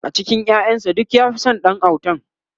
a cikin ƴaƴan sa duk ya Fi San Ɗan autan